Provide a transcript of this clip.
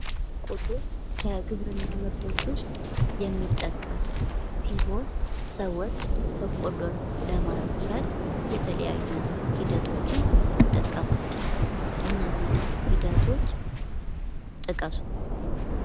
በቆሎ ከግብርና ምርቶች የሚጠቀስ ሲሆን ሰዎች በቆሎን ለማምረት የተለያዩ ሂደቶችን ይጠቀማሉ ። እነዚህ ሂደቶች ጥቀሱ ።